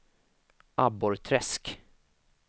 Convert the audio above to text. Abborrträsk